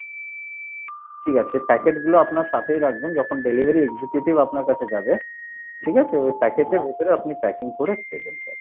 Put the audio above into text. ঠিক আছে packet গুলো আপনার সাথেই রাখবেন যখন delivery executive আপনার কাছে যাবে, ঠিক আছে? ওই packet এর ভেতরে আপনি packing করে দেবেন sir